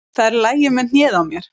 Það er í lagi með hnéð á mér.